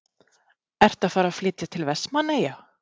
Ertu að fara að flytja til Vestmannaeyja?